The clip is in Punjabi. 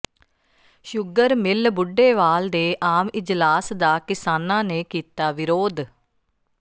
ਸ਼ੁਗਰ ਮਿੱਲ ਬੁੱਢੇਵਾਲ ਦੇ ਆਮ ਇਜਲਾਸ ਦਾ ਕਿਸਾਨਾਂ ਨੇ ਕੀਤਾ ਵਿਰੋਧ